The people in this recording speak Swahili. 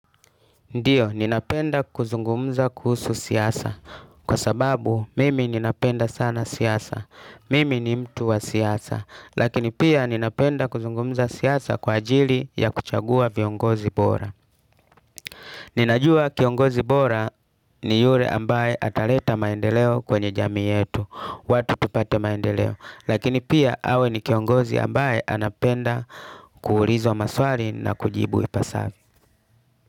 Ndiyo, ninapenda kuzungumuza kuhusu siasa. Kwa sababu, mimi ninapenda sana siasa. Mimi ni mtu wa siasa. Lakini pia, ninapenda kuzungumuza siasa kwa ajili, ya kuchagua viongozi bora. Ninajua kiongozi bora, ni yure ambaye ataleta maendeleo kwenye jamii yetu. Watu tupate maendeleo. Lakini pia, awe ni kiongozi ambaye, anapenda kuulizwa maswali na kujibu ipasavyo.